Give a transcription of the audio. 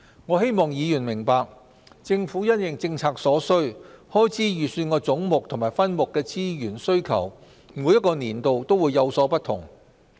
我希望議員明白，政府因應政策所需，開支預算的總目和分目的資源需求每個年度也會有所不同。